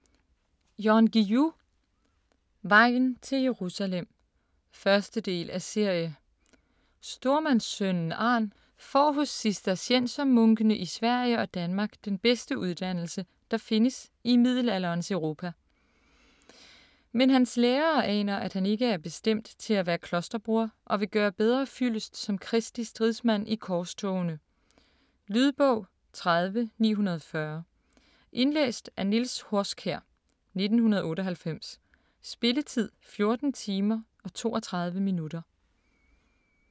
Guillou, Jan: Vejen til Jerusalem 1. del af serie. Stormandssønnen Arn får hos cisterciensermunkene i Sverige og Danmark den bedste uddannelse, der findes i middelalderens Europa. Men hans lærere aner, at han ikke er bestemt til at være klosterbroder og vil gøre bedre fyldest som Kristi stridsmand i korstogene. Lydbog 30940 Indlæst af Niels Horskjær, 1998. Spilletid: 14 timer, 32 minutter.